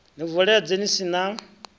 ni vuledze ni si na